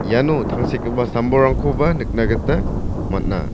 iano tangsekgipa sam-bolrangkoba nikna gita man·a.